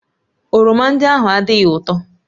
Oroma ndị ahụ adịghị ụtọ